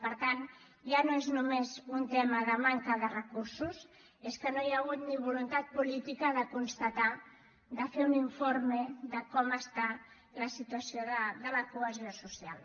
per tant ja no és només un tema de manca de recursos és que no hi ha hagut ni voluntat política de constatar de fer un informe de com està la situació de la cohesió social